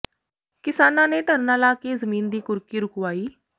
ਕਿਸਾਨਾਂ ਨੇ ਧਰਨਾ ਲਾ ਕੇ ਜ਼ਮੀਨ ਦੀ ਕੁਰਕੀ ਰੁਕਵਾਈ